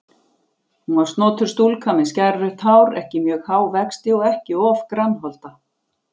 Hún var snotur stúlka með skærrautt hár, ekki mjög há vexti og ekki of grannholda.